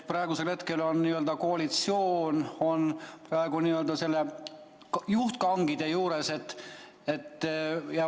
Praegusel hetkel on koalitsioon juhtkangide juures.